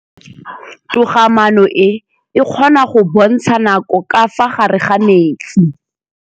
Toga-maanô e, e kgona go bontsha nakô ka fa gare ga metsi.